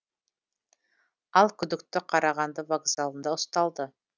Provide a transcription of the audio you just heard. ал күдікті қарағанды вокзалында ұсталды